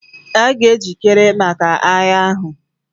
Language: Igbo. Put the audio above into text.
A ga-ejikere maka agha ahụ.